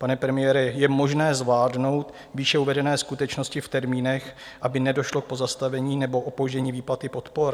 Pane premiére, je možné zvládnout výše uvedené skutečnosti v termínech, aby nedošlo k pozastavení nebo opoždění výplaty podpor?